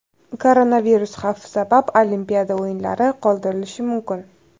Koronavirus xavfi sabab Olimpiada o‘yinlari qoldirilishi mumkin.